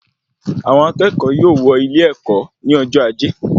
Àwọn akẹ́kọ̀ọ́ yóò wọ ilé-èkó ní ọjọ ajé